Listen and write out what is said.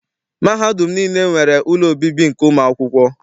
Mahadum niile nwere ụlọ obibi nke ụmụakwụkwọ.